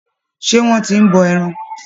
Ṣé wọ́n ti ń bọ ẹran.